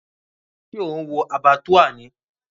Ṣé ò ń wo Abattoir ni?